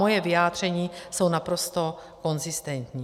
Moje vyjádření jsou naprosto konzistentní.